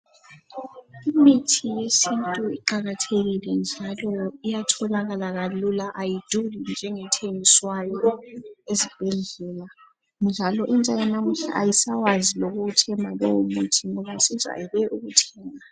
Imithi yesintu iqakathekile njalo iyatholakala kalula ayiduli njengethengiswayo ezibhedlela njalo intsha yanamuhla ayisawazi lokuwuthemba lowo muthi ngoba sijayele ukuthenga.